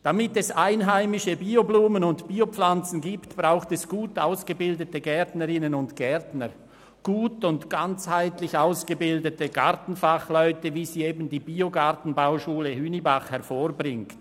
Damit es einheimische Bio-Blumen und Bio-Setzlinge gibt, braucht es gut ausgebildete Gärtnerinnen und Gärtner, gut und ganzheitlich ausgebildete Gartenfachleute, wie sie eben die Biogartenbauschule Hünibach hervorbringt.